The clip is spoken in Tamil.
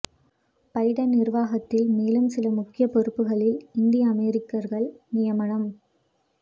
பைடன் நிர்வாகத்தில் மேலும் சில முக்கிய பொறுப்புகளில் இந்திய அமெரிக்கர்கள் நியமனம்